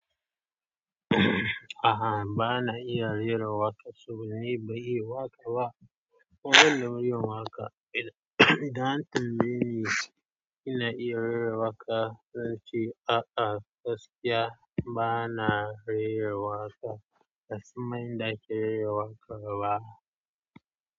A'a, ba na iya rera waƙa saboda ni ban iya waƙa ba. Kuma ban da muryan waƙa idan an tambaye ni ina rera waƙa zan ce a'a, gaskiya ba na rera waƙa ban san ma yanda ake rera waƙa ba.